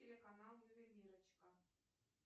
телеканал ювелирочка